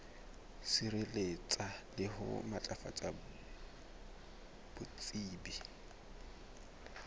sireletsa le ho matlafatsa botsebi